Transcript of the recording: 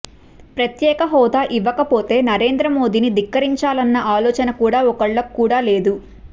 ప్రత్యేక హోదా ఇవ్వకపోతే నరేంద్రమోడీని ధిక్కరించాలన్న ఆలోచన కూడా ఒక్కళ్ళకు కూడా లేదు